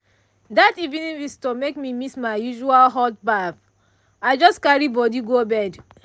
that evening visitor make me miss my usual hot baff i just carry body go bed.